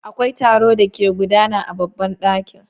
Akwai taro da ke gudana a babban daki.